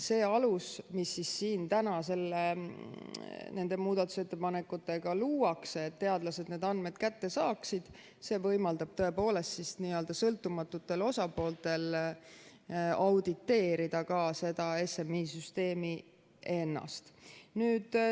See alus, mis siin täna nende muudatusettepanekutega luuakse, et teadlased need andmed kätte saaksid, võimaldab tõepoolest sõltumatutel osapooltel audititeerida ka seda SMI süsteemi ennast.